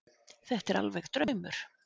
Þetta er alveg draumur.